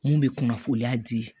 Mun bɛ kunnafoniya di